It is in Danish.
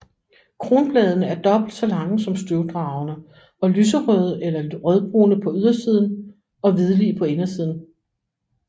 Kronbladene er dobbelt så lange som støvdragerne og lyserøde eller rødbrune på ydersiden og hvidlige på indersiden